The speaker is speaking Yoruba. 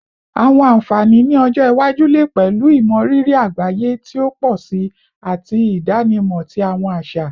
Awọn anfani ni ọjọ iwaju le pẹlu imọriri agbaye ti o pọ si ati idanimọ ti awọn aṣa